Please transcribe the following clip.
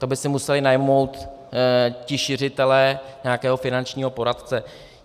To by si museli najmout ti šiřitelé nějakého finančního poradce.